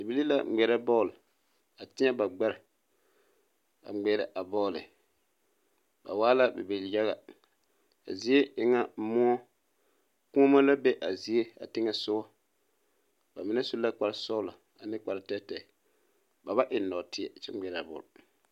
Bibilii la ŋmeɛrɛ bɔɔl a teɛ ba gbɛre a ŋmeɛrɛ a bɔɔle ba waa la bibil yaga zie e ŋa moɔkuonne la be a zie teŋɛ soga ba mine su kparesɔglɔ ane kpare tɔɛtɔɛ ba ba eŋ nɔɔteɛ kyɛ ŋmeɛrɛ a bɔl.